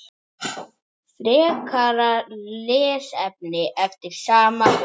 Frekara lesefni eftir sama höfund